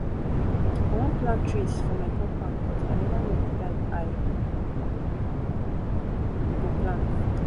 i wan plant trees for my compound but i never no the type i go plant